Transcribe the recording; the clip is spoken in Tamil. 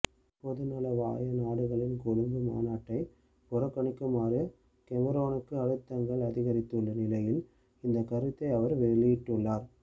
பொதுநலவாய நாடுகளின் கொழும்பு மாநாட்டை புறக்கணிக்குமாறு கெமரோனுக்கு அழுத்தங்கள் அதிகரித்துள்ள நிலையில் இந்த கருத்தை அவர் வெளியிட்டுள்ளார்